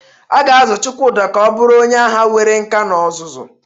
A ga-azụ Chukwudi ka ọ bụrụ onye agha nwere nkà na ọzụzụ.